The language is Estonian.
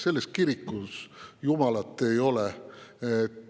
Selles kirikus jumalat ei ole.